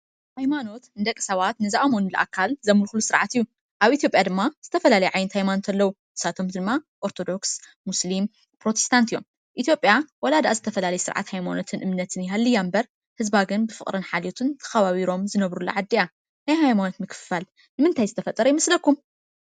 ሃይማኖት ንደቂ ሰባት ንዝኣመንሉ ኣካል ዘምልኩሉ ስርዓት እዩ፡፡ ኣብ ኢትዮጰያ ድማ ዝተፈላለዩ ዓይነት ሃይማኖት ኣለዉ፡፡ ንሳቶም ድማ ኦርቶዶክስ፣ ሞስሊም ፣ ፕሮቲስታትን እዮም ኢትዮጰያ ዋላ ድኣ ዝተፈላለየ ዓይነት ስርዓትን እምነትን ይሃልያ እምበር ህዝባ ግን ብፍቅር ሓልየት ተኸባቢሮም ዝነብሩላ ዓዲ እያ፡፡ ናይ ሃይማኖት ምክፍፋል ንምንታይ ዝተፈጠረ ይመስለኩም ?